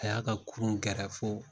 A y'a ka kurun gɛrɛ fo